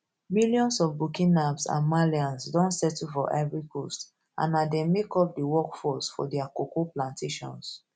millions of burkinabs and malians don settle for ivory coast and na dem make up di workforce for dia cocoa plantations